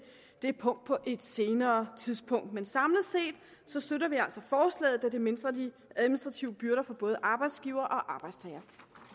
det punkt på et senere tidspunkt men samlet set støtter vi altså forslaget da det mindsker de administrative byrder for både arbejdsgivere og arbejdstagere